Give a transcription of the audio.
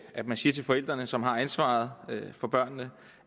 at man siger til forældrene som har ansvaret for børnene